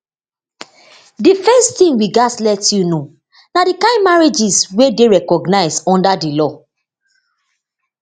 di first tin we gatz let you know na di kain marriages wey dey recognised under di law